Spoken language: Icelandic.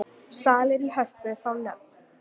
Salir í Hörpu fá nöfn